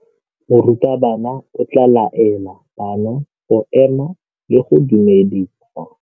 Morutabana o tla laela bana go ema le go go dumedisa.